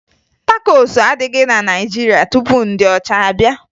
Takosu adịghị na Naịjirịa tupu ndị ọcha abịa